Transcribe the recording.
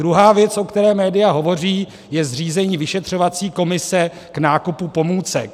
Druhá věc, o které média hovoří, je zřízení vyšetřovací komise k nákupu pomůcek.